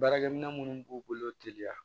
Baarakɛ minɛ minnu b'u bolo teliya